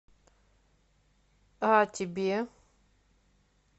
о тебе